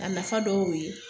A nafa dɔw ye